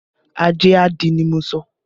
Ajé a dí ni mo sọ